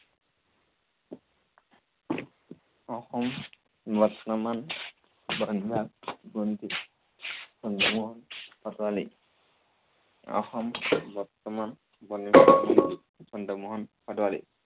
অসম বৰ্তমান বন বিভাগ মন্ত্ৰী চন্দ্ৰমোহন পাটোৱাৰী। অসম বৰ্তমান বন বিভাগ মন্ত্ৰী চন্দ্ৰমোহন পাটোৱাৰী।